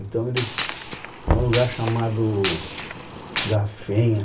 Então eles... É um lugar chamado Gafenha.